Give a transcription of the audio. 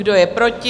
Kdo je proti?